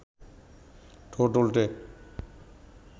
ঠোঁট উল্টে